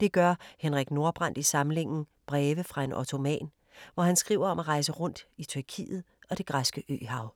Det gør Henrik Nordbrandt i samlingen Breve fra en ottoman, hvor han skriver om at rejse rundt i Tyrkiet og det græske øhav.